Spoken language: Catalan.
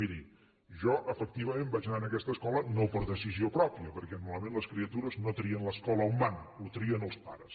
miri jo efectivament vaig anar a aquesta escola no per decisió pròpia perquè normalment les criatures no trien l’escola a on van ho trien els pares